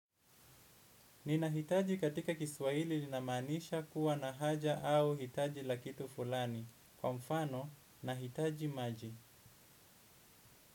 Ninahitaji katika kiswaili linamanisha kuwa na haja au hitaji la kitu fulani. Kwa mfano, nahitaji maji.